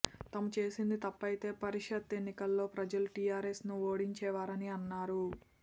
తాము చేసింది తప్పయితే పరిషత్ ఎన్నికల్లో ప్రజలు టిఆర్ఎస్ను ఓడించేవారని అన్నారు